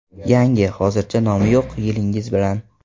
Yangi, hozircha nomi yo‘q yilingiz bilan.